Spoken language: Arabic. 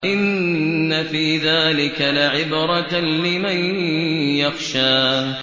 إِنَّ فِي ذَٰلِكَ لَعِبْرَةً لِّمَن يَخْشَىٰ